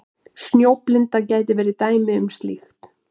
Snjóblinda getur verið dæmi um slíkt.